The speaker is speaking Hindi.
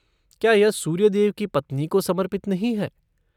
क्या यह सूर्यदेव की पत्नी को समर्पित नहीं है?